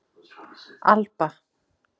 Alba